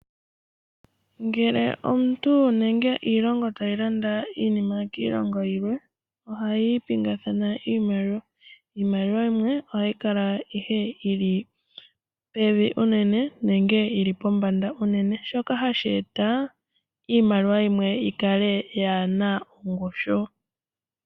Ngele omuntu nenge iilongo tayi landa iinima kiilongo yilwe, ohayi pingathana iimaliwa. Iimaliwa yimwe ohayi kala ihe yi li pevi unene, nenge pombanda unene. Shika ohashi eta opo iimaliwa yimwe yikale yaana ongushu.